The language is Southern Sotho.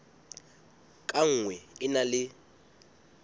ka nngwe e na le